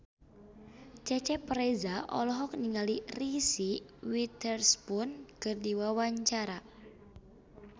Cecep Reza olohok ningali Reese Witherspoon keur diwawancara